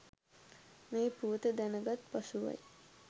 මේ පුවත දැනගත් පසුවයි.